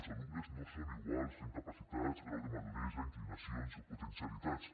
els alumnes no són iguals en capacitats grau de maduresa inclinacions o potencialitats